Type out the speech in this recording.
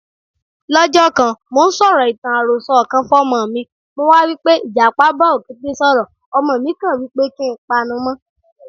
Lọ́jọ́kan, mò ńsọ̀rọ̀ ìtàn àròsọ kan fọ́'mọmi, mo wá wípé Ìjàpá bá Òkété sọ̀rọ̀, ọmọ mi kàn wípé kí npanumọ́